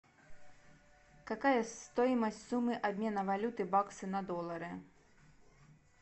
какая стоимость суммы обмена валюты баксы на доллары